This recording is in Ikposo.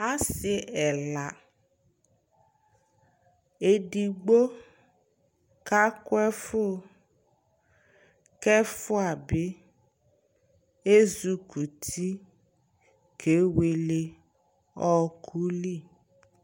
asii ɛla, ɛdigbɔ ka kʋ ɛƒʋ kɛ ɛƒʋa bi ɛzukʋti kɛwɛlɛ ɔkʋ li